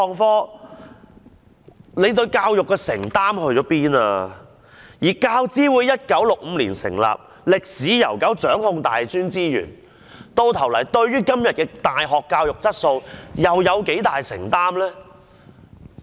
況且，教資會成立於1965年，可謂歷史悠久，掌控大專資源，但究竟對於今天的大學教育質素又有多大承擔呢？